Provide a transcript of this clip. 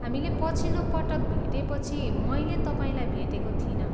हामीले पछिलो पटक भेटेपछि मैले तपाईँलाई भेटेको थिइनँ।